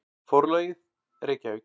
Forlagið: Reykjavík.